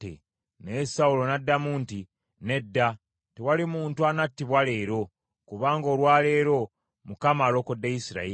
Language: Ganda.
Naye Sawulo n’addamu nti, “Nedda, tewali muntu anattibwa leero, kubanga olwa leero Mukama alokodde Isirayiri.”